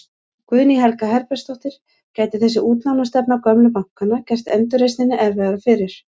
Guðný Helga Herbertsdóttir: Gæti þessi útlánastefna gömlu bankanna gert endurreisninni erfiðara fyrir?